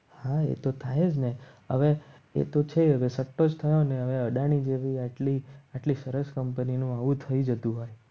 હા એ તો થાય જ ને હવે એ તો છે. હવે સતત થયો ને હવે અદાણી જેવી આટલી સરસ કંપની નું આવું થઈ જતું હોય.